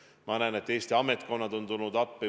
Ma näen, et Eesti ametkonnad on tulnud appi.